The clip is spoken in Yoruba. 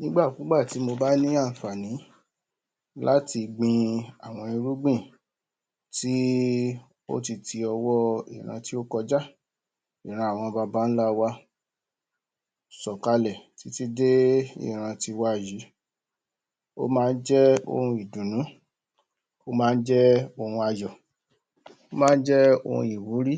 Nígbàkúgbà tí mo bá ní ànfàni láti gbin àwọn irúgbìn tí í ó ti ọwọ́ ìran tí ó kọjá ìran àwọn babálá wa ìran awọn babálá wa sọ̀kalẹ̀ títí dé ìran ti wa yìí ó má jẹ́ ohun ìdùnú ó má jẹ́ ohun ayọ̀ ó má jẹ́ ohun ìwúrí